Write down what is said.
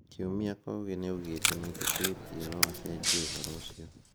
Kiumia Kogi nĩaugĩte nĩetĩkĩtie no acenjie ũhoro ũcio.